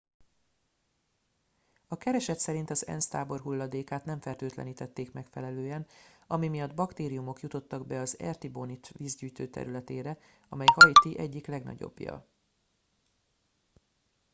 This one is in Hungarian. a kereset szerint az ensz tábor hulladékát nem fertőtlenítették megfelelően ami miatt baktériumok jutottak be az artibonite vízgyűjtő területére amely haiti egyik legnagyobbja